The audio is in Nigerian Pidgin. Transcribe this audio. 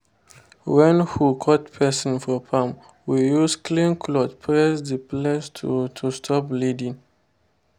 when hoe cut person for farm we use clean cloth press the place to to stop bleeding.